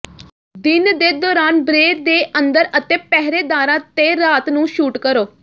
ਦਿਨ ਦੇ ਦੌਰਾਨ ਬ੍ਰੇ ਦੇ ਅੰਦਰ ਅਤੇ ਪਹਿਰੇਦਾਰਾਂ ਤੇ ਰਾਤ ਨੂੰ ਸ਼ੂਟ ਕਰੋ